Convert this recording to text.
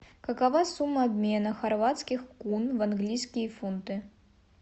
какова сумма обмена хорватских кун в английские фунты